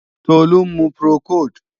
Tolú ń mu Procold